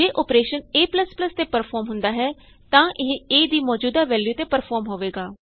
ਜੇ operation a ਤੇ perform ਹੁੰਦਾ ਹੈ ਤਾਂ ਇਹ a ਦੀ ਮੌਜ਼ੂਦਾ ਵੈਲਯੂ ਤੇ ਪਰਫੋਰਮ ਹੋਵੇਗਾ